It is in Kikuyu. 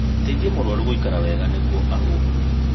Teithia mũrũaru gũikara wega nĩguo ahuhie